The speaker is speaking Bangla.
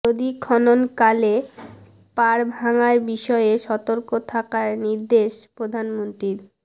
নদী খননকালে পাড় ভাঙার বিষয়ে সতর্ক থাকার নির্দেশ প্রধানমন্ত্রীর